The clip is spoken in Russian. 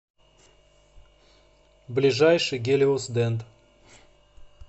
ближайший гелиосдент